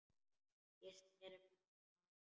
Ég sneri mér að henni.